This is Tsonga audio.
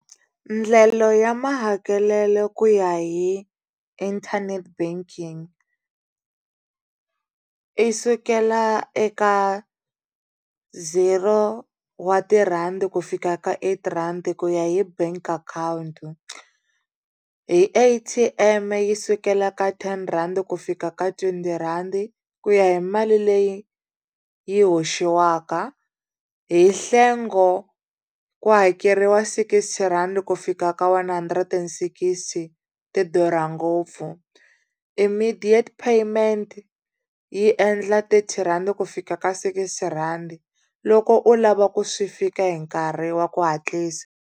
Ndlela ya mahakelelo ku ya hi inthanete banking i sukela eka zero wa tirhandi ku fika ka eight rand ku ya hi bank account hi A_T_M yi sukela ka ten rhandi ku fika ka twenty rhandi ku ya hi mali leyi yi hoxiwaka hi nhlengo ku hakeriwa sixty rand ku fika ka one hundred and sixty ti durha ngopfu immediate payment yi endla thirty rand ku fika ka sixty rhandi loko u lava ku swi fika hi nkarhi wa ku hatlisa.